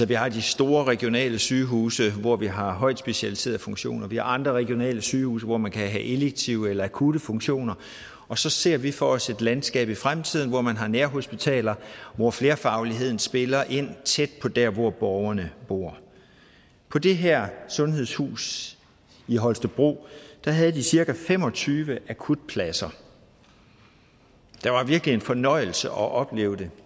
vi har de store regionale sygehuse hvor vi har højt specialiserede funktioner vi har andre regionale sygehuse hvor man kan have elektive eller akutte funktioner og så ser vi for os landskab i fremtiden hvor man har nærhospitaler hvor flerfagligheden spiller ind tæt på der hvor borgerne bor på det her sundhedshus i holstebro havde de cirka fem og tyve akutpladser det var virkelig en fornøjelse at opleve det